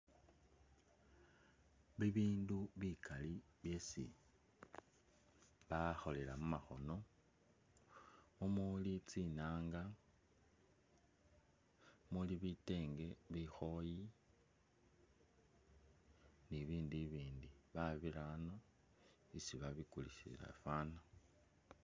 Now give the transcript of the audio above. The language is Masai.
Bibindu bikaali byesi bakholela mumakhono, mumuli tsinanga muli bitenge, bikhoyi ni'bibindu bibindi babirano isi babikulisila faana